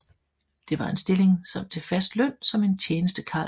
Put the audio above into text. Det var en stilling til fast løn som en tjenestekarls